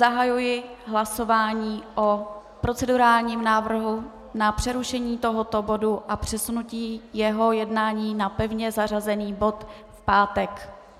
Zahajuji hlasování o procedurálním návrhu na přerušení tohoto bodu a přesunutí jeho jednání jako pevně zařazený bod v pátek.